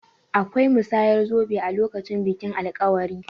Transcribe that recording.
Akwai musayar zobe a lokacin bikin alkawari.